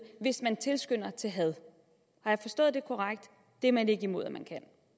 hvis den tilskynder til had har jeg forstået det korrekt det er man ikke imod at man